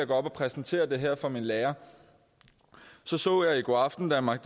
gå op og præsentere det her for min lærer så så jeg i godaften danmark